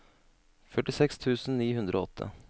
førtiseks tusen ni hundre og åtte